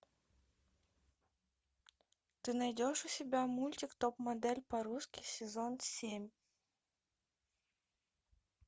ты найдешь у себя мультик топ модель по русски сезон семь